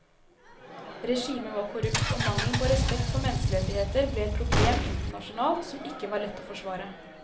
Regimet var korrupt og mangelen på respekt for menneskerettigheter ble et problem internasjonalt som ikke var lett å forsvare.